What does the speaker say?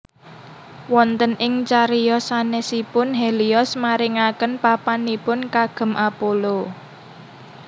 Wonten ing cariyos sanèsipun Helios maringaken papanipun kagem Apollo